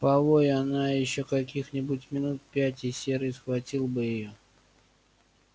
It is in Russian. повой она ещё каких-нибудь минут пять и серый схватил бы её